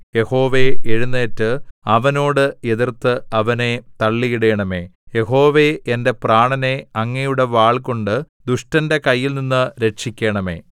യഹോവേ എഴുന്നേറ്റ് അവനോട് എതിർത്ത് അവനെ തള്ളിയിടണമേ യഹോവേ എന്റെ പ്രാണനെ അങ്ങയുടെ വാൾകൊണ്ട് ദുഷ്ടന്റെ കൈയിൽനിന്ന് രക്ഷിക്കണമെ